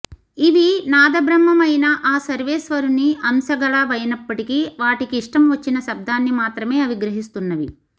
ఇవి నాదబ్రహ్మమైన ఆ సర్వేశ్వరుని అంశగలవైనప్పటికీ వాటికి ఇష్టం వచ్చిన శబ్దాన్ని మాత్రమే అవి గ్రహిస్తున్నవి